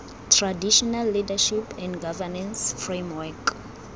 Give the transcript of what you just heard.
traditional leadership and governance framework